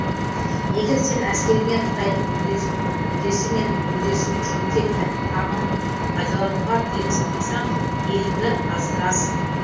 егер сен әскеріңе қытайдың үлдесі мен бүлдесін киюге тәтті тағамын пайдалануға тыйым салмасаң елінді аздырасың